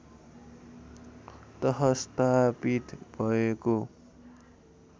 तह स्थापित भएको